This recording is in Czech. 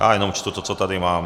Já jenom čtu to, co tady mám.